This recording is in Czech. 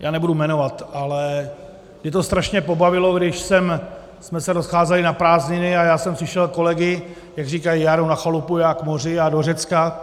Já nebudu jmenovat, ale mě to strašně pobavilo, když jsme se rozcházeli na prázdniny a já jsem slyšel kolegy, jak říkají: Já jedu na chalupu, já k moři, já do Řecka.